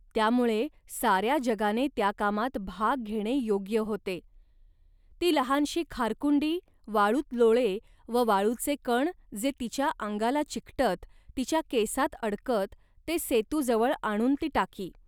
त्यामुळे साऱ्या जगाने त्या कामात भाग घेणे योग्य होते. ती लहानशी खारकुंडी वाळूत लोळे व वाळूचे कण जे तिच्या अंगाला चिकटत, तिच्या केसांत अडकत, ते सेतूजवळ आणून ती टाकी